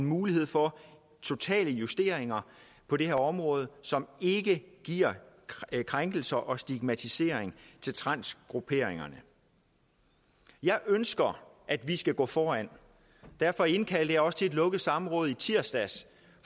mulighed for totale justeringer på det her område som ikke giver krænkelser og stigmatisering til transgrupperingerne jeg ønsker at vi skal gå foran derfor indkaldte jeg også til et lukket samråd i tirsdags